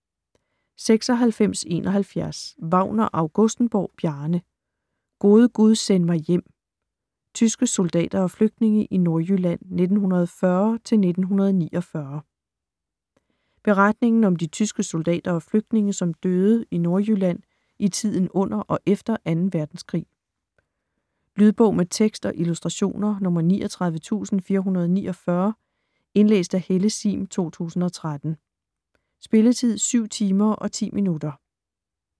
96.71 Wagner-Augustenborg, Bjarne: Gode gud, send mig hjem: tyske soldater og flygtninge i Nordjylland 1940-1949 Beretningen om de tyske soldater og flygtninge som døde i Nordjylland i tiden under og efter 2. verdenskrig. Lydbog med tekst og illustrationer 39449 Indlæst af Helle Sihm, 2013. Spilletid: 7 timer, 10 minutter.